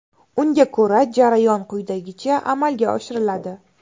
Unga ko‘ra, jarayon quyidagicha amalga oshiriladi.